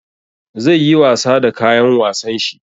Zai yi wasa da kayan wasan shi.